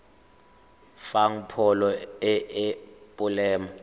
fang pholo e e molemo